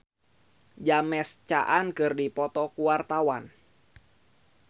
Aliando Syarif jeung James Caan keur dipoto ku wartawan